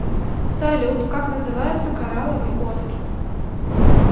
салют как называется корраловый остров